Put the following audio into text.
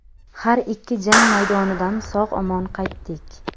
Har ikki jang maydonidan sog‘-omon qaytdik.